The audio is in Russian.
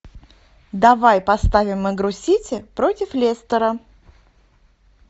давай поставим игру сити против лестера